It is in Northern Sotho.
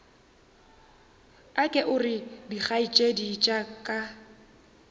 aka gore dikgaetšedi tša ka